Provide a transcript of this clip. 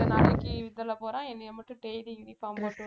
கொஞ்ச நாளைக்கு இதுல போறான் என்னைய மட்டும் daily uniform போட்~